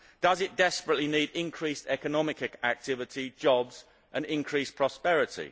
Does it desperately need increased economic activity, jobs and increased prosperity?